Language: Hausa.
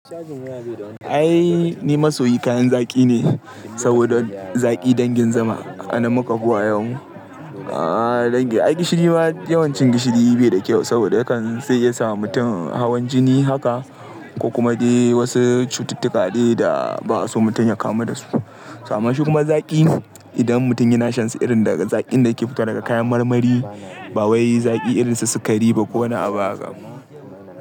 Ai ni masoyin kayan zaƙi ne saboda zaƙi dangin zuma anan muka fi wayau. Aaa dangin, ai gishiri ma yawancin gishiri bai da kyau saboda yakan sai ya sawa mutum hawan jini haka ko kuma dai wasu cututtuka dai da ba'a so mutum ya kamu dasu. To amma shi kuma zaƙi idan mutum yana shan su irin daga zaƙin da yake fitowa daga kayan marmari ba wai zaƙi irin su sikari ba ko wani abu haka.